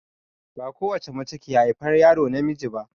Ba ko wacce mace ke haifar yaro namiji ba.